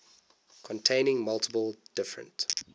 containing multiple different